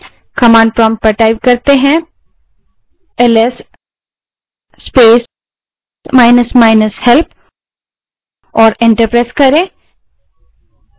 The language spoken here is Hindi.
command prompt पर जाएँ और ls space minus minus help type करें और enter दबायें